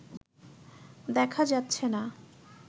দেখা যাচ্ছে না